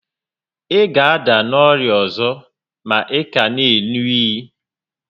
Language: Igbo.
Ị ga ada n'orịa ọzọ ma ị ka n'eru únyí